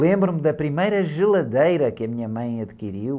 Lembro-me da primeira geladeira que a minha mãe adquiriu.